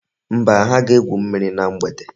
Mba, ha ga-egwu mmiri na mgbede.